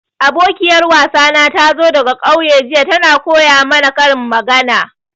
Abokiyar wasana tazo daga ƙauye jiya, ta na koya mana karin magana.